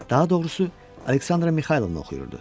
Daha doğrusu, Aleksandra Mixaylovnanı oxuyurdu.